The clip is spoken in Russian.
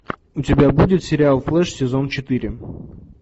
у тебя будет сериал флэш сезон четыре